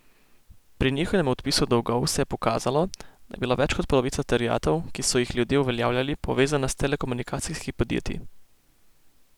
Pri njihovem odpisu dolgov se je pokazalo, da je bila več kot polovica terjatev, ki so jih ljudje uveljavljali, povezana s telekomunikacijskimi podjetji.